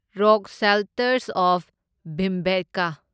rock shelters of Bhimbetka